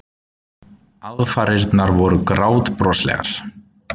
Aðfarirnar voru grátbroslegar.